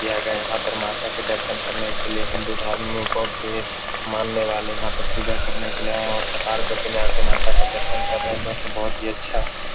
किया गया है यहां पर माता के दर्शन करने के लिए हिंदू धर्म लोगो की मानने वाले यहां पर पूजा करने के लिए आए हुए है और कतारबद्ध में आ के माता का दर्शन कर रहे है जो यहां पे बहुत अच्छा --